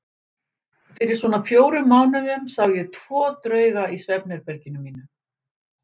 Fyrir svona fjórum mánuðum sá ég tvo drauga í svefnherberginu mínu.